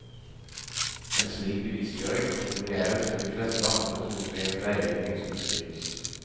En slik bevisstgjøring kan kombineres med de fleste andre metodene i veiledning som beskrives.